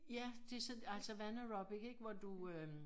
Ja det sådan altså vandaerobic ikke hvor du øh